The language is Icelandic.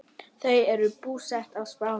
Þau eru búsett á Spáni.